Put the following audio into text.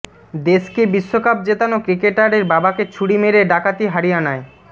দেশকে বিশ্বকাপ জেতানো ক্রিকেটারের বাবাকে ছুরি মেরে ডাকাতি হরিয়ানায়